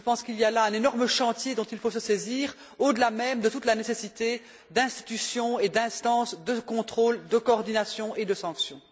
Je pense qu'il y a là un énorme chantier dont il faut se saisir, au delà même de toute la nécessité d'institutions et d'instances de contrôle, de coordination et de sanction.